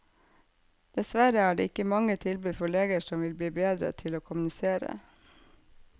Dessverre er det ikke mange tilbud for leger som vil bli bedre til å kommunisere.